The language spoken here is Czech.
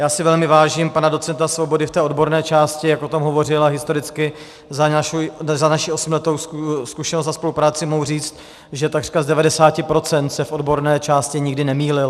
Já si velmi vážím pana docenta Svobody v té odborné části, jak o tom hovořil, a historicky za naši osmiletou zkušenost a spolupráci mohu říct, že takřka z 90 % se v odborné části nikdy nemýlil.